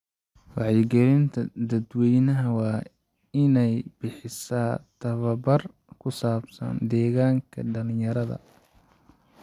Wacyigelinta dadweynaha waa inay bixisaa tababar ku saabsan deegaanka dhalinyarada.